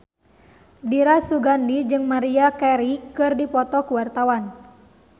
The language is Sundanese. Dira Sugandi jeung Maria Carey keur dipoto ku wartawan